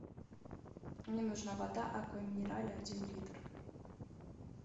мне нужна вода аква минерале один литр